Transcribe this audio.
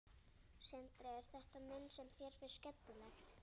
Sindri: Er þetta mynd sem þér finnst skemmtileg?